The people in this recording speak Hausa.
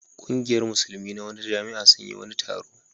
Ƙungiyar Musulmi na wata jami'a sun yi wani taro.